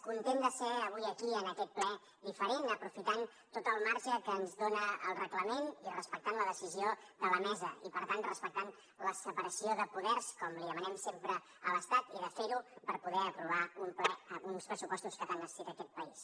content de ser avui aquí en aquest ple diferent aprofitant tot el marge que ens dona el reglament i respectant la decisió de la mesa i per tant respectant la separació de poders com li demanem sempre a l’estat i de fer ho per poder aprovar uns pressupostos que tant necessita aquest país